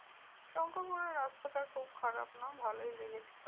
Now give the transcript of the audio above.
শঙ্করপুরের রাস্তাটা খুব খারাপ না ভালোই লেগেছিলো।